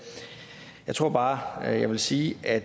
jeg tror bare jeg vil sige at